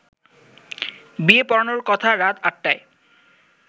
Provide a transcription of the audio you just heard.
বিয়ে পড়ানোর কথা রাত আটটায়